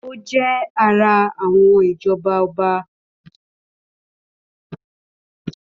Ó jẹ́ ara àwọn ìjọba ọba.